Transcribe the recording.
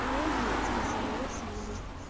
но нет спасибо я с юлей